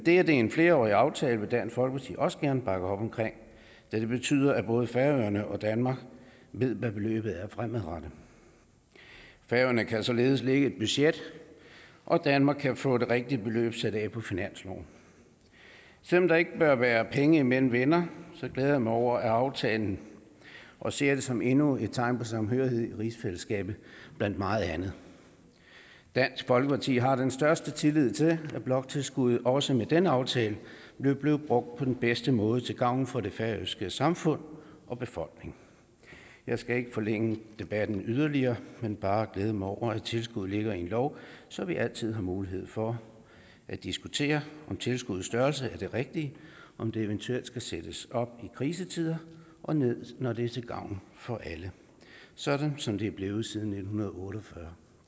er en flerårig aftale vil dansk folkeparti også gerne bakke op om da det betyder at både færøerne og danmark ved hvad beløbet er fremadrettet færøerne kan således lægge et budget og danmark kan jo få det rigtige beløb sat af på finansloven selv om der ikke bør være penge imellem venner glæder jeg mig over aftalen og ser den som endnu et tegn på samhørighed i rigsfællesskabet blandt meget andet dansk folkeparti har den største tillid til at bloktilskuddet også med denne aftale vil blive brugt på den bedste måde til gavn for det færøske samfund og befolkning jeg skal ikke forlænge debatten yderligere men bare glæde mig over at tilskuddet ligger i en lov så vi altid har mulighed for at diskutere om tilskuddets størrelse er den rigtige om det eventuelt skal sættes op i krisetider og ned når det er til gavn for alle sådan som det er blevet siden nitten otte og fyrre